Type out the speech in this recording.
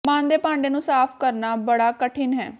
ਮਨ ਦੇ ਭਾਂਡੇ ਨੂੰ ਸਾਫ਼ ਕਰਨਾ ਬੜਾ ਕਠਿਨ ਹੈ